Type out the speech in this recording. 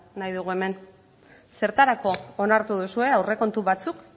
nahi dugu hemen zertarako onartu duzue aurrekontu batzuk